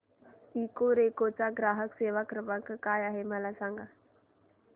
Ecoreco चा ग्राहक सेवा क्रमांक काय आहे मला सांग